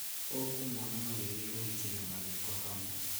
ũkũmona magĩthii ũhiki na mathiko hamwe